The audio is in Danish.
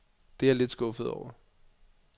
Det er jeg lidt skuffet over.